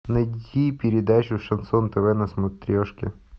найди передачу шансон тв на смотрешке